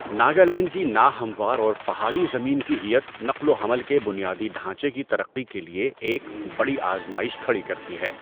ناگالینڈ کی ناہموار اور پہاڑی زمین کی ہیئت نقل و حمل کے بنیادی ڈھانچے کی ترقی کے لیے ایک بڑی آزمائش کھڑی کرتی ہے۔